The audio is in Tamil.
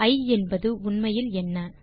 இ என்பது உண்மையில் என்ன